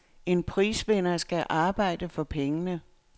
En prisvinder skal arbejde for pengene.